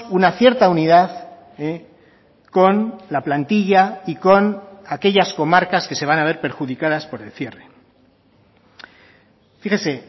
una cierta unidad con la plantilla y con aquellas comarcas que se van a ver perjudicadas por el cierre fíjese